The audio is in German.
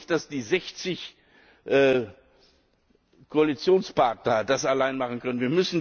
Ich glaube nicht, dass die 60 Koalitionspartner das allein machen können.